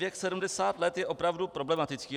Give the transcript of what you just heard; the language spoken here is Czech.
Věk 70 let je opravdu problematický.